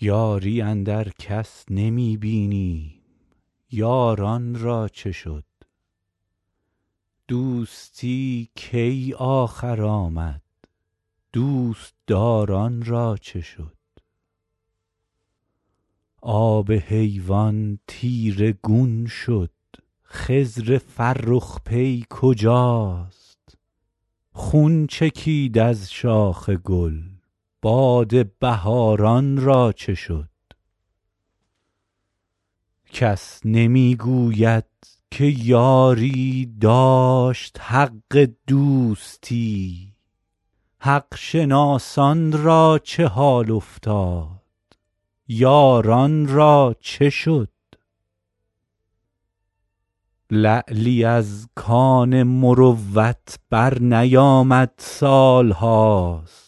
یاری اندر کس نمی بینیم یاران را چه شد دوستی کی آخر آمد دوست دار ان را چه شد آب حیوان تیره گون شد خضر فرخ پی کجاست خون چکید از شاخ گل باد بهار ان را چه شد کس نمی گوید که یاری داشت حق دوستی حق شناسان را چه حال افتاد یاران را چه شد لعلی از کان مروت برنیامد سال هاست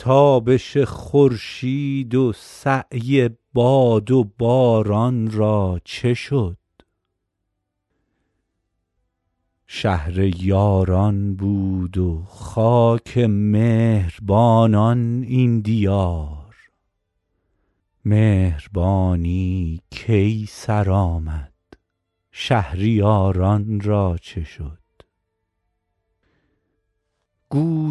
تابش خورشید و سعی باد و باران را چه شد شهر یاران بود و خاک مهر بانان این دیار مهربانی کی سر آمد شهریار ان را چه شد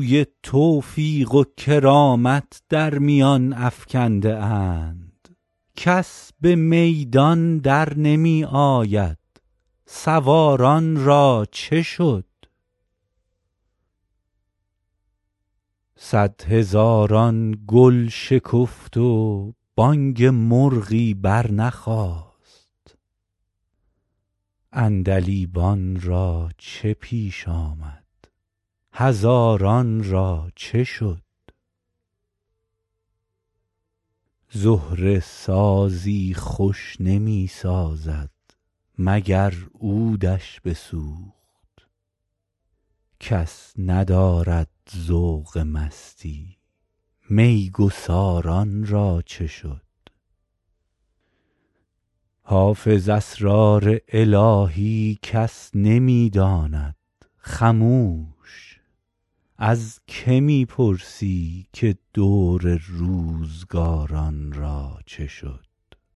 گوی توفیق و کرامت در میان افکنده اند کس به میدان در نمی آید سوار ان را چه شد صدهزاران گل شکفت و بانگ مرغی برنخاست عندلیبان را چه پیش آمد هزاران را چه شد زهره سازی خوش نمی سازد مگر عود ش بسوخت کس ندارد ذوق مستی می گسار ان را چه شد حافظ اسرار الهی کس نمی داند خموش از که می پرسی که دور روزگار ان را چه شد